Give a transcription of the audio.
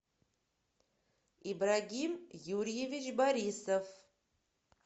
ибрагим юрьевич борисов